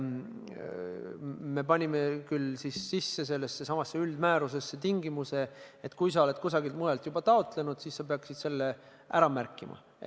Me panime küll sellessesamasse määrusesse tingimuse, et kui sa oled kusagilt mujalt juba taotlenud, siis sa peaksid selle ära märkima.